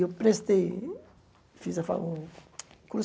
E eu prestei, fiz a fa o o